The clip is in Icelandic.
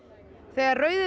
þegar rauði